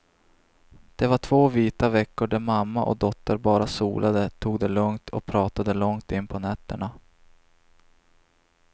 Det var två vita veckor där mamma och dotter bara solade, tog det lugnt och pratade långt in på nätterna.